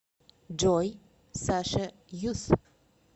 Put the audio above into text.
джой саша юс